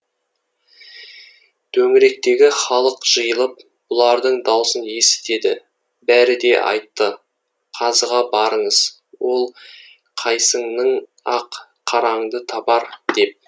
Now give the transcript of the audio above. төңіректегі халық жиылып бұлардың даусын есітеді бәрі де айтты қазыға барыңыз ол қайсыңның ақ қараңды табар деп